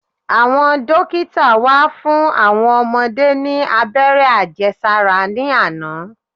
Àwọn dókítà wá fún àwọn ọmọdé ní abẹ́rẹ́ Àjẹsára ní àná.